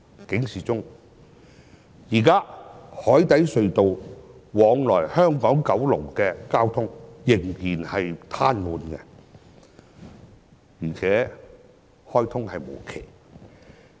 現時海底隧道往來香港和九龍的交通仍然癱瘓，而且開通無期。